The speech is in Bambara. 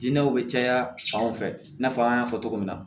Dinɛw bɛ caya fanw fɛ i n'a fɔ an y'a fɔ cogo min na